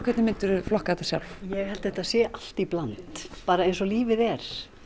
hvernig myndir þú flokka þetta sjálf ég held að þetta sé allt í bland bara eins og lífið er